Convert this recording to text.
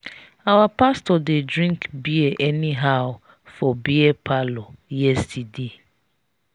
our pastor dey drink bear anyhow for beer parlor yesterday.